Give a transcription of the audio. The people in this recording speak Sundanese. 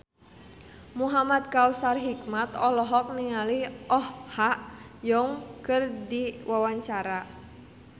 Muhamad Kautsar Hikmat olohok ningali Oh Ha Young keur diwawancara